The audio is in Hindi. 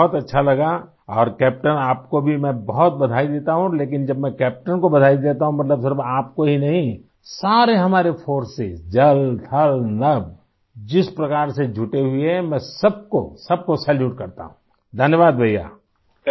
बहुत अच्छा लगा और कैप्टेन आपको भी मैं बहुत बधाई देता हूँ लेकिन जब मैं कैप्टेन को बधाई देता हूँ मतलब सिर्फ़ आपको ही नहीं सारे हमारे फोर्सेस जल थल नभ जिस प्रकार से जुटे हुए हैं मैं सबको सबको सैल्यूट करता हूँ आई धन्यवाद भईया आई